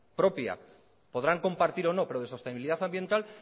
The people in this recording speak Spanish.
propia podrán compartir o no pero de sostenibilidad ambiental